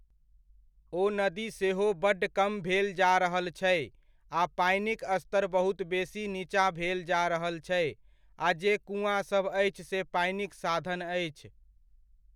ओ नदी सेहो बड्ड कम भेल जा रहल छै आ पानिक स्तर बहुत बेसी नीचाँ भेल जा रहल छै, आ जे कुआँसभ अछि से पानिक साधन अछि।